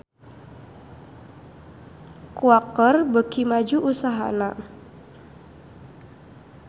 Quaker beuki maju usahana